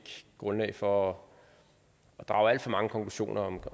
grundlag for at drage alt for mange konklusioner